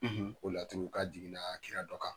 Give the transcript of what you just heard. Ko laturu, k'a jiginna kira dɔ kan.